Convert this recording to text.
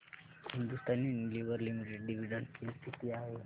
Hindustan Unilever limited dividend pay किती आहे